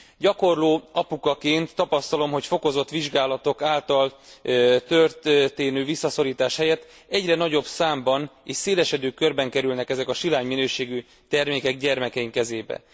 Gyakorló apukaként tapasztalom, hogy fokozott vizsgálatok által történő visszaszorítás helyett egyre nagyobb számban és szélesedő körben kerülnek ezek a silány minőségű termékek gyermekeink kezébe.